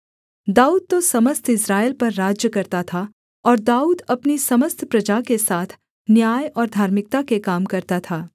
दाऊद तो समस्त इस्राएल पर राज्य करता था और दाऊद अपनी समस्त प्रजा के साथ न्याय और धार्मिकता के काम करता था